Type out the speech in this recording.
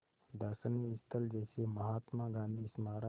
दर्शनीय स्थल जैसे महात्मा गांधी स्मारक